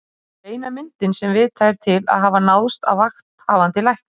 Anders Nilsson.